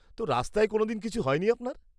-তো রাস্তায় কোনোদিন কিছু হয়নি আপনার?